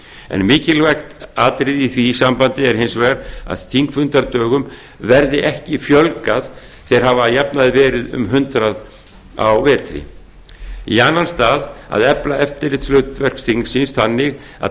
en mikilvægt atriði í því sambandi er hins vegar að þingfundadögum verði ekki fjölgað þeir hafa að jafnaði verið um hundrað á vetri annars að efla eftirlitshlutverk þingsins þannig að